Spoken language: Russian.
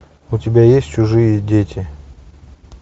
у тебя есть чужие дети